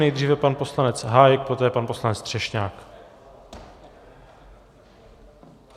Nejdříve pan poslanec Hájek, poté pan poslanec Třešňák.